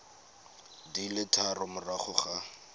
di le tharo morago ga